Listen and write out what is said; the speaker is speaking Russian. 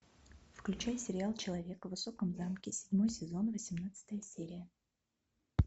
включай сериал человек в высоком замке седьмой сезон восемнадцатая серия